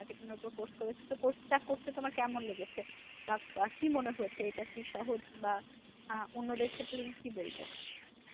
তো course করেছো তো course টা করতে তোমার কেমন লেগেছে? বা কি মনে হয়েছে এটা কি সহজ বা অন্যদের ক্ষেত্রে তুমি কি বলবে?